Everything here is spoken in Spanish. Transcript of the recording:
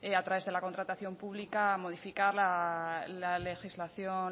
a través de la contratación pública modificar la legislación